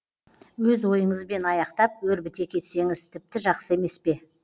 өз ойыңызбен аяқтап өрбіте кетсеңіз тіпті жақсы емес пе